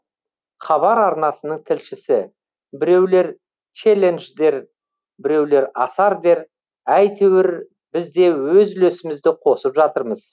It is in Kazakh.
хабар арнасының тілшісі біреулер челлендж дер біреулер асар дер әйтеуір бізде өз үлесімізді қосып жатырмыз